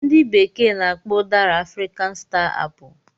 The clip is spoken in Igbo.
Ndị bekee na-akpọ udara 'African star apple '